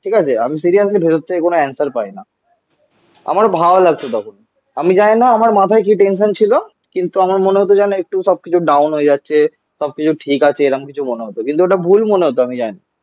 ঠিক আছে? আমি সিরিয়াসলি ভেতর থেকে কোনো অ্যানসার পাই না. আমার আমার ভালো লাগতো তখন. আমি জানিনা আমার মাথায় কি টেনশন ছিল. কিন্তু আমার মনে হতো যেন একটু সব কিছু ডাউন হয়ে যাচ্ছে. সবকিছু ঠিক আছে. এরকম কিছু মনে হতো. কিন্তু ওটা ভুল মনে হত আমি জানি.